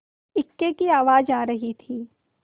इक्के की आवाज आ रही थी